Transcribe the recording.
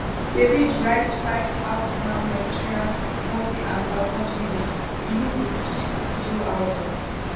davide write 5ive out now nigerian multi awards winner release im fifth studio album